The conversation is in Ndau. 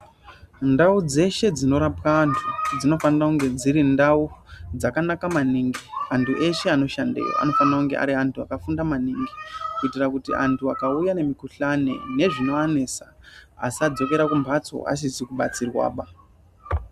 Ndau dzeshe dzinorapwa antu, dzinofanira kunge dzirindau dzakanaka maningi. Antu eshe anoshandeyo anofanira kunge ari antu akafunda maningi. Kuitira kuti antu akauya nemukhuhlane nezwinoanesa asadzokera kumphatso asizi kubatsirwaba.